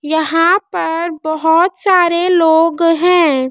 यहाँ पर बहोत सारे लोग हैं।